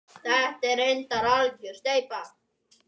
Þetta er reyndar algjör steypa.